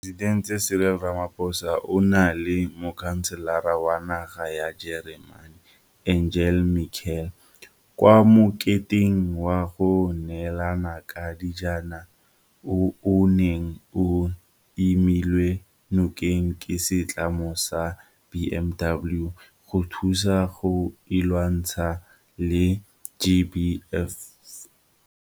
Moporesitente Cyril Ramaphosa o na le Mokhanselara wa naga ya Jeremane Angela Merkel kwa moketeng wa go neelana ka dijanaga o o neng o emilwe nokeng ke setlamo sa BMW go thusa go lwantshana le GBVF.